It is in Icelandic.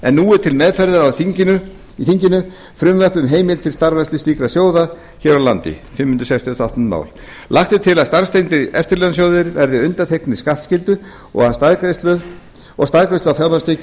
en nú er til meðferðar í þinginu frumvarp um heimild til starfrækslu slíkra sjóða hér á landi lagt er til að starfstengdir eftirlaunasjóðir verði undanþegnir skattskyldu og staðgreiðslu á fjármagnstekjur